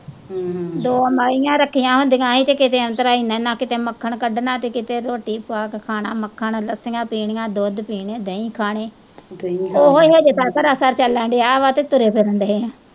ਦੋ ਮਈਆ ਰੱਖੀਆ ਹੁੰਦੀਆਂ ਹੀ ਕਿਤੇ ਔਂਤਰਾ ਇਹਨਾਂ ਇਹਨਾਂ ਕਿਤੇ ਮੱਖਣ ਕਢਣਾ ਤੇ ਕਿਤੇ ਰੋਟੀ ਪਾ ਕੇ ਖਾਣਾ ਮੱਖਣ ਲੱਸੀਆਂ ਪੀਣੀਆਂ, ਦੁੱਧ ਪੀਣੇ, ਦਹੀ ਖਾਣੇ ਓਹੋ ਹੀ ਹਜੇ ਤਾਕਰ ਅਸਰ ਚਲਣਦਿਆ ਵਾ ਤੇ ਤੁਰੇ ਫਿਰਨ ਦੇ ਆ।